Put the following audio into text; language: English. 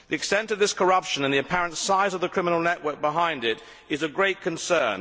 The extent of this corruption and the apparent size of the criminal network behind it are of great concern.